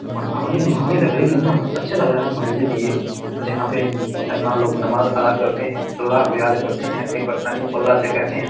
कितना अच्छा लग रहा है मस्जिद ये जहां पे मुसलमान लोग नमाज़ अदा करते हैं अल्ला को याद करते हैं अपनी परेशानियों को अल्ला से कहते हैं।